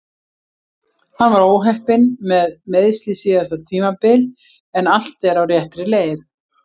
Hann var óheppinn með meiðsli síðasta tímabil en allt er á réttri leið.